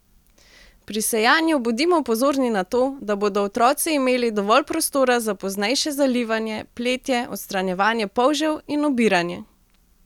Pri sejanju bodimo pozorni na to, da bodo otroci imeli dovolj prostora za poznejše zalivanje, pletje, odstranjevanje polžev in obiranje!